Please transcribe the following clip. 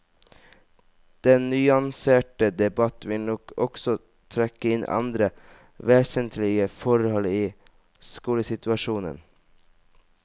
Den nyanserte debatt vil nok også trekke inn andre vesentlige forhold i skolesituasjonen.